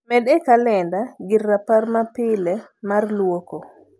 med e kalenda gir rapar ma pile mar luoko